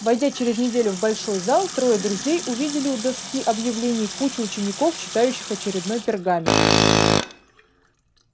войдя через неделю в большой зал трое друзей увидели у доски объявлений кучку учеников читающих очередной пергамент